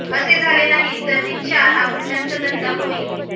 असे झाले नाही तर रिक्षा हा गुंडांचा धंदा होईल